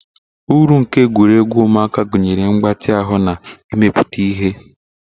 Uru nke egwuregwu ụmụaka gụnyere mgbatị ahụ na imepụta ihe.